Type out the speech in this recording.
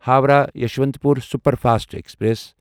Howrah Yesvantpur superfast express